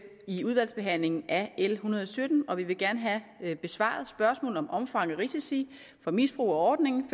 i udvalgsbehandlingen af l en hundrede og sytten og vi vil gerne have besvaret spørgsmål om omfang og risici for misbrug af ordningen